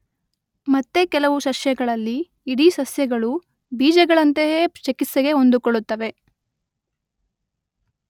ಮತ್ತೆ ಕೆಲವು ಸಸ್ಯಗಳಲ್ಲಿ ಇಡೀ ಸಸ್ಯಗಳು ಬೀಜಗಳಂತೆಯೇ ಚಿಕಿತ್ಸೆಗೆ ಹೊಂದಿಕೊಳ್ಳುತ್ತವೆ.